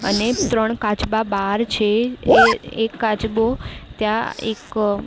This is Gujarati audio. અને ત્રણ કાચબા બાર છે. એ એક કાચબો ત્યાં એક અ--